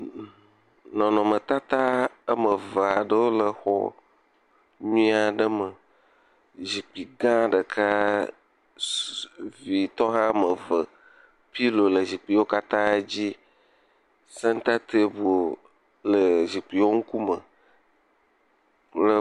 Nɔnɔmetata woame eve aɖewo le xɔ nyuie aɖe me, zikpui gã ɖeka ss…ee..vitɔ woiame eve. Pillow le zikpuiwo katã dzi, senta table le zikpuiwo ŋkume.